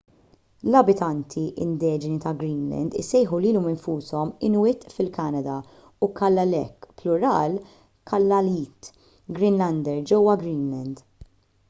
l-abitanti indiġeni ta’ greenland isejħu lilhom infushom inuit fil-kanada u kalaalleq plural kalaallit greenlander ġewwa greenland